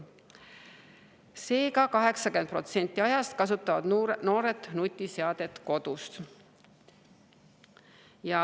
Seega, 80% ajast kasutavad noored nutiseadet kodus.